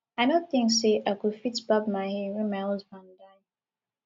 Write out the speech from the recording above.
i no think say i go fit barb my hair wen my husband die